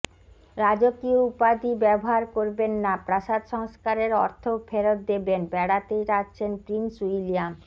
রাজকীয় উপাধি ব্যবহার করবেন না প্রাসাদ সংস্কারের অর্থও ফেরত দেবেন বেড়াতে যাচ্ছেন প্রিন্স উইলিয়াম